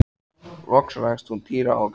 Kristján Már: Hefurðu séð þessar myndir áður?